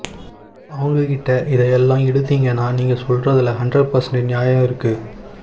அவங்ககிட்ட இத எல்லாம் எடுத்தீங்கன்னா நீங்க சொல்றதில ஹண்றட் பேர்சண்ட் ஞாயம் இருக்கு